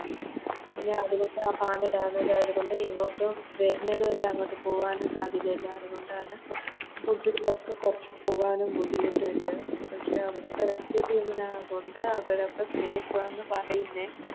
പിന്നത്കൊണ്ട് ആ പാലം Damage ആയത് കൊണ്ട് ഇങ്ങോട്ട് വരുന്നതും ഇല്ല അങ്ങോട്ടും പോകാനും സാധ്യതയില്ല അതുകൊണ്ടാണ് Food കളൊക്കെ കൊർച്ച് പോകാനും ബുദ്ധിമുട്ട്ണ്ട് പക്ഷെ അവിടത്തെ Rescue team നാ കൊണ്ട് അവിടൊക്കെ Safe ആണ് പറയുന്നേ